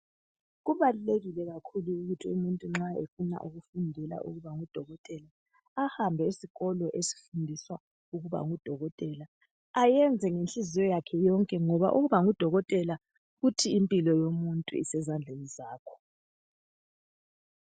Kubalulekile kakhulu ukuthi umuntu nxa efuna ukufundela ukuba ngudokotela ahambe esikolo esifundiswa ukuba ngudokotela ayenze ngenhliziyo yakhe yonke ngoba ukuba ngudokotela kuthi impilo yomuntu isezandleni zakho.